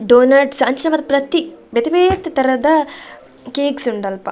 Doughnuts ಅಂಚಿನ ಮಾತ ಪ್ರತಿ ಬೇತೆ ಬೇತೆ ತರದ ಕೇಕ್ಸ್ ಉಂಡು ಅಲ್ಪ.